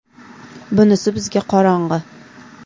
Bunisi bizga qorong‘i.